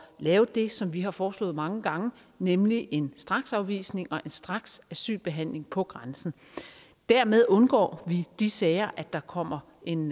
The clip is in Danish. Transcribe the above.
lave det som vi har foreslået mange gange nemlig en straksafvisning og en straksasylbehandling på grænsen dermed undgår vi de sager at der kommer en